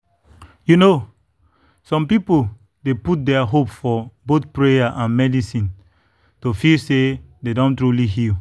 you know some people dey put their hope for both prayer and medicine to feel say dem don truly heal.